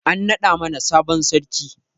An naɗa mana sabon sarki